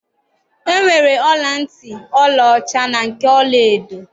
E nwere ọla ntị ọla ọcha na nke ọla edo.